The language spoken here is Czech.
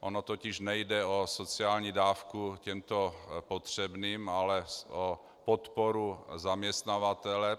Ono totiž nejde o sociální dávku těmto potřebným, ale o podporu zaměstnavatele.